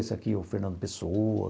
Esse aqui é o Fernando Pessoa.